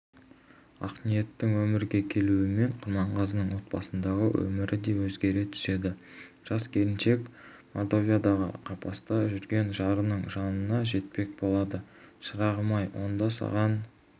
ақниеттің өмірге келуімен құрманғазының отбасындағы өмірі де өзгере түседі жас келіншек мордовиядағы қапаста жүрген жарының жанына жетпек болады шырағым-ай онда саған